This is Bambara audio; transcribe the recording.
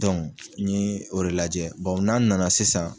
n ye o de lajɛ na nana sisan.